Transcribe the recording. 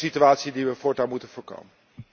Dat is een situatie die we voortaan moeten voorkomen.